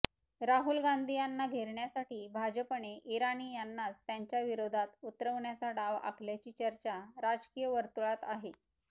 राहुल गांधी यांना घेरण्यासाठी भाजपने इराणी यांनाच त्यांच्याविरोधात उतरवण्याचा डाव आखल्याची चर्चा राजकीय वर्तुळात आहे